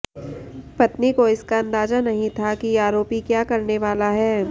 पत्नी को इसका अंदाजा नहीं था कि आरोपी क्या करने वाला है